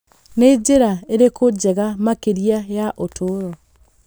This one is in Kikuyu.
Nĩ njĩra ĩrĩkũ njega makĩria ya ũtũũro?